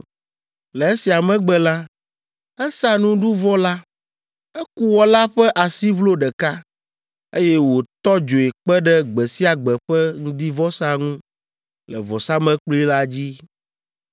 Le esia megbe la, esa nuɖuvɔ la. Eku wɔ la ƒe asiʋlo ɖeka, eye wòtɔ dzoe kpe ɖe gbe sia gbe ƒe ŋdivɔsa ŋu le vɔsamlekpui la dzi.